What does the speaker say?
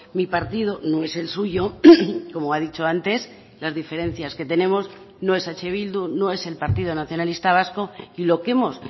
mi partido no es el suyo como ha dicho antes las diferencias que tenemos no es eh bildu no es el partido nacionalista vasco y lo que hemos